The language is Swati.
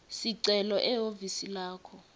sicelo ehhovisi lakho